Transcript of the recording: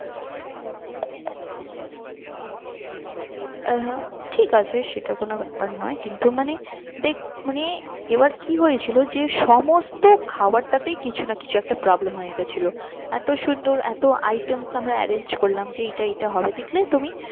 হ্যাঁ ঠিক আছে সেটা কোনো ব্যাপার নয় কিন্তু মানে দেখ মানে এবার কি হয়েছিল যে সমস্ত খাবার টাতেই কিছু না কিছু একটা problem হয়ে গেছিলো। এত সুন্দর এতো items আমরা arrange করলাম যে এইটা এইটা হবে দেখলে তুমি